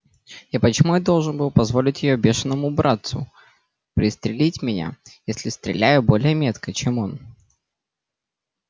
и почему я должен был позволить её бешеному братцу пристрелить меня если стреляю более метко чем он